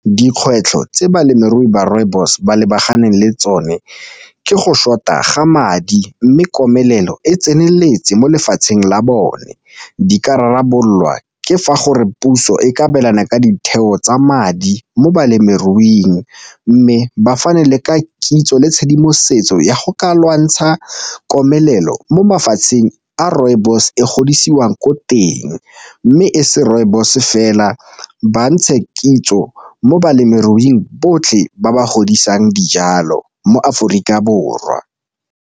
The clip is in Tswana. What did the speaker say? Dikgwetlho tse balemirui ba rooibos ba lebaganeng le tsone ke go short-a ga madi mme komelelo e tseneletse mo lefatsheng la bone. Di ka rarabololwa ke fa gore puso e ka abelana ka ditheo tsa madi mo balemiruing mme bafana le ka kitso le tshedimosetso ya go ka lwantsha komelelo mo mafatsheng a rooibos e godisiwa ko teng, mme e se rooibos fela ba ntshe kitso mo balemiruing botlhe ba ba godisang dijalo mo Aforika Borwa.